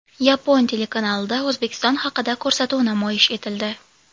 Yapon telekanalida O‘zbekiston haqida ko‘rsatuv namoyish etildi.